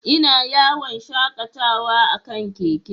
Ina yawon shakatawa a kan keke.